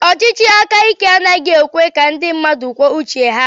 Ọchịchị aka ike anaghị ekwe ka ndị mmadụ kwuo uche ha